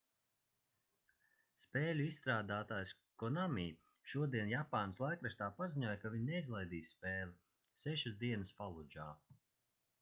spēļu izstrādātājs konami šodien japānas laikrakstā paziņoja ka viņi neizlaidīs spēli sešas dienas faludžā